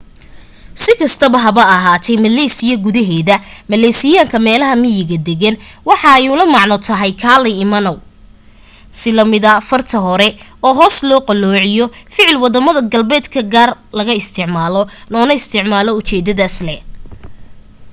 si kasta haba ahaate malaysia gudahed maleysiyaanka meelaha miyiga dagan waxa ay ula macno tahay kaalay imanow si lamida farta hore oo hoos loo qaloociyo ficil wadamada galbeedka qaar laga isticmaalo loona isticmaalo ujeedadas lee